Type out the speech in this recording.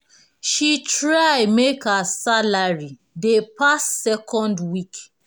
she try make her salary dey pass second week